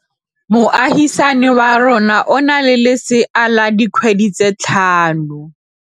Moagisane wa rona o na le lesea la dikgwedi tse tlhano.